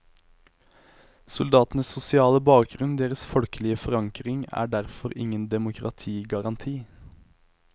Soldatenes sosiale bakgrunn, deres folkelige forankring, er derfor ingen demokratigaranti.